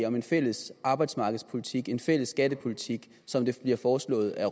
om en fælles arbejdsmarkedspolitik en fælles skattepolitik som det bliver foreslået af